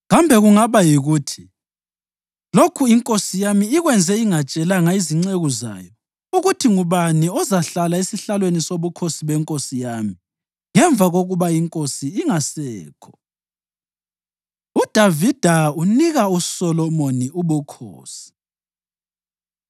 Kambe kungaba yikuthi lokhu inkosi yami ikwenze ingatshelanga izinceku zayo ukuthi ngubani ozahlala esihlalweni sobukhosi benkosi yami ngemva kokuba inkosi ingasekho?” UDavida Unika USolomoni Ubukhosi